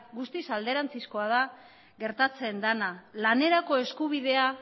guztiz alderantzizkoa da gertatzen dena lanerako eskubidea